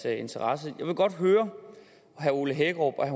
interesse jeg vil godt høre om herre ole hækkerup